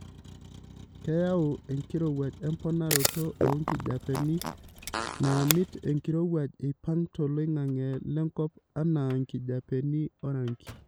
Keyau enkirowuaj emponaroto oo nkijapeni naamiti enkirowuaj eipang' toloing'ang'e lenkop anaa nkijapeni orangi.